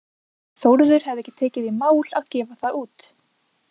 Þórður hefði ekki tekið í mál að gefa það út.